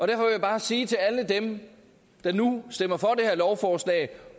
jeg bare sige til alle dem der nu stemmer for det her lovforslag